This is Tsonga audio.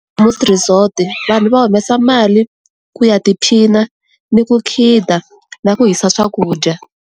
resort-i vanhu va humesa mali ku ya tiphina ni ku khida na ku hisa swakudya.